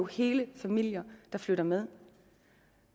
hele familier der flytter med